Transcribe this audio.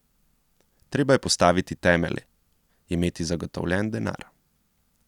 Treba je postaviti temelje, imeti zagotovljen denar.